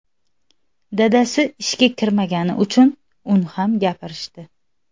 Dadasi ishga kirmagani uchun uni ham gapirishdi.